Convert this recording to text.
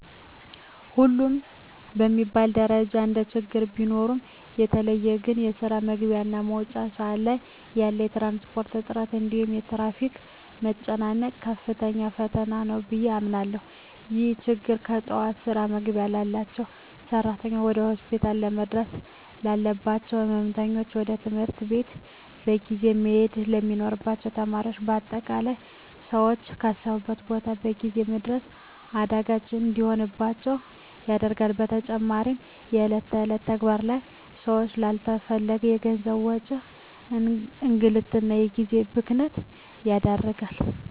ሁሉም በሚባል ደረጃ እንደችግር ቢኖሩም በተለየ ግን በስራ መግቢያ እና መውጫ ሰአት ላይ ያለ የትራንስፖርት እጥረት እንዲሁም የትራፊክ መጨናነቅ ከፍተኛ ፈተና ነው ብየ አምናለሁ። ይህ ችግር በጠዋት ስራ መግባት ላባቸው ሰራተኞች፣ ወደ ሆስፒታል ለመድረስ ላለባቸው ህመምተኞች፣ ወደ ትምህርት ቤት በጊዜ መሄድ ለሚኖርባቸው ተማሪዎች በአጠቃላይ ሰወች ካሰቡት ቦታ በጊዜ ለመድረስ አዳጋች እንዲሆንባቸው ያደርጋል። በተጨማሪም በእለት እለት ተግባር ላይ ሰወችን ላለተፈለገ የገንዘብ ወጪ፣ እንግልት እና የጊዜ ብክነት ይዳርጋል።